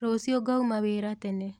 Rũciũ ngauma wĩra tena.